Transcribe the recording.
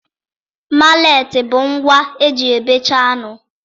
Maletị bụ ngwa eji e bechaa anụ